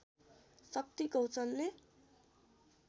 शक्ति गौचनले